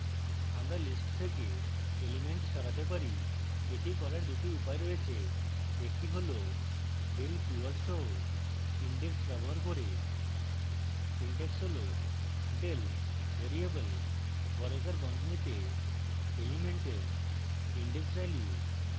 আমরা lists থেকে elements সরাতে পারি এটি করার দুটি উপায় রয়েছে একটি হল del keyword সহ index ব্যবহার করে